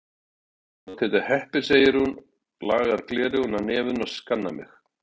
Þá máttu heita heppin, segir hún, lagar gleraugun á nefinu og skannar mig.